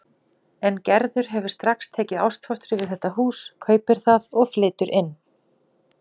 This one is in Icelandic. En Gerður hefur strax tekið ástfóstri við þetta hús, kaupir það og flytur inn.